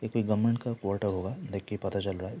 ये कोई गवर्नमेंट का कोटा होगा देख के ही पता चल रहा।